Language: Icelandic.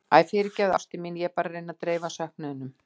Æ, fyrirgefðu ástin mín, ég er bara að reyna að dreifa söknuðinum.